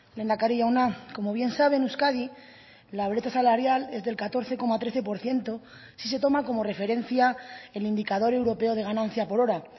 lehendakari jauna como bien sabe en euskadi la brecha salarial es del catorce coma trece por ciento si se toma como referencia el indicador europeo de ganancia por hora